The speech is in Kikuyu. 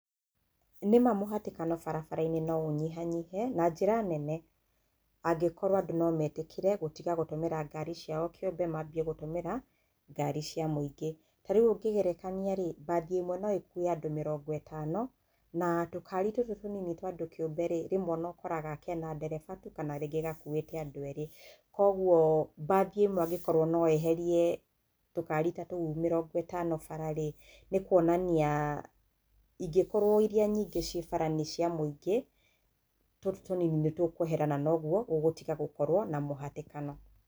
Nĩma mũhatĩkano barabara-inĩ no ũnyihanyihe na njĩra nene angĩkorwo andũ no matĩkĩre gũtiga kũhũthĩra ngari ciao kĩũmbe, manjie gũtũmĩre ngari cia mũingĩ. Tarĩũ ũkĩringĩthania-ri mbathi ĩmwe no ĩkuwe andũ mĩrongo itano, na tũkari tũtũ tũnini, rĩmwe ũkoraga kena ndereba tu kana gakũĩte andũ erĩ. Koguo mbathĩ ĩmwe angĩkorwo no yeherie tukari tatũu mĩrongo itano bara-ĩ, nĩ kuonania ingĩkorwo iria nyingĩ ciĩ bara nĩ cia mũingĩ, tũtũ tũnini nĩ tũkwehera na noguo gũgũtiga gũkorwo na mũhatĩkano.